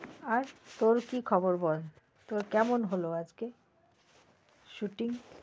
আর তোর কি খবর বল তোর কেমন হলো আজকে? shooting?